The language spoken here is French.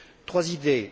Trois idées.